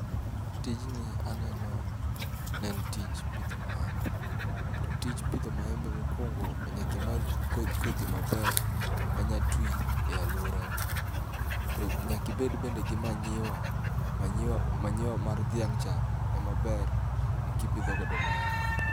Tijni aneno ne en tij pidho maembe, to tij pidho maembe mokwongo nyakimany kodhi maber manya twi e alwora ni. To nyakibed bende gi manyiwa, manyiwa manyiwa mar dhiang' cha ema ber kipidho godo maembe.